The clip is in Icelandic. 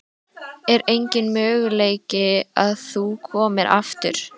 Er enginn möguleiki á að þú komir aftur?